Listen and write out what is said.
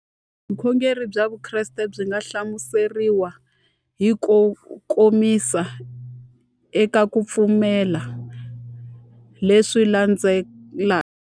Vukhongeri bya Vukreste byi nga hlamuseriwa hi kukomisa eka ku pfumela leswi landzelaka.